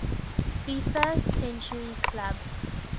fifa century club